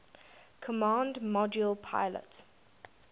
command module pilot